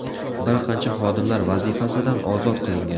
Bir qancha xodimlar vazifasidan ozod qilingan.